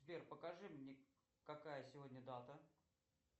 сбер покажи мне какая сегодня дата